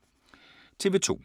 TV 2